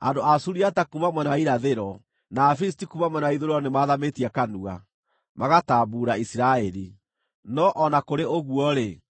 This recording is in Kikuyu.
Andũ a Suriata kuuma mwena wa irathĩro, na Afilisti kuuma mwena wa ithũĩro nĩmathamĩtie kanua, magatambuura Isiraeli. No o na kũrĩ ũguo-rĩ,